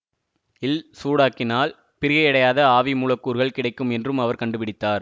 ல் சூடாக்கினால் பிரிகையடையாத ஆவி மூலக்கூறுகள் கிடைக்கும் என்றும் அவர் கண்டுபிடித்தார்